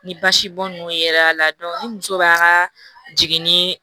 Ni basibɔn ninnu yera la ni muso b'a ka jiginni